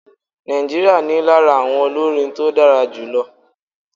Nigeria ní lára àwọn olórin tó dára jù lọ.